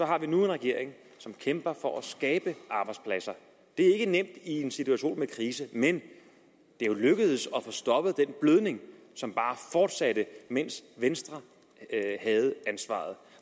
har vi nu en regering som kæmper for at skabe arbejdspladser det er ikke nemt i en situation med krise men det er jo lykkedes at få stoppet den blødning som bare fortsatte mens venstre havde ansvaret